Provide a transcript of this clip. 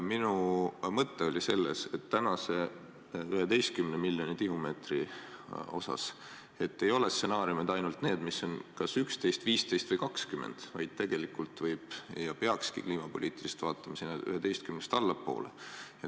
Minu mõte oli selles, et ehk peaksime tänase 11 miljoni tihumeetri juures arutama mitte ainult stsenaariume, mis lubavad raiuda kas 11, 15 või 20 miljonit tihumeetrit, vaid kliimapoliitiliselt vaadates liikuma 11 miljonist tihumeetrist allapoole.